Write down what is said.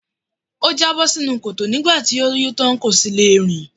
Ó jábọ́ sínú kòtò nígbà tó yó tán, kò sì le rìn.